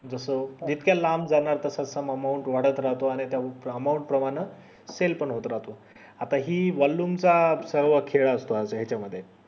जस इतक्या लांब जाणार तसं तस amount वाढत राहतो आणि amount प्रमाणे cell पण होत राहतो आता हि volume चा खेळ असतो याच्या मध्ये